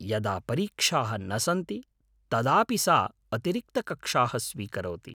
यदा परीक्षाः न सन्ति तदापि सा अतिरिक्तकक्षाः स्वीकरोति।